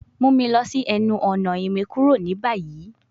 Mu mi lọ si ẹnu-ọna imukuro ni bayi